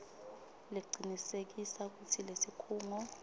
lecinisekisa kutsi lesikhungo